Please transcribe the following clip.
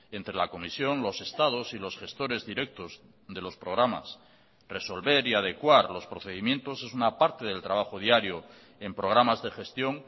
entre la comisión los estados y los gestores directos de los programas resolver y adecuar los procedimientos es una parte del trabajo diario en programas de gestión